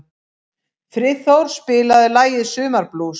Friðþór, spilaðu lagið „Sumarblús“.